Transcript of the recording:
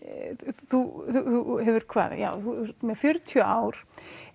þú hefur hvað ert með fjörutíu ár